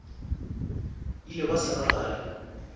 ile ba sa le gare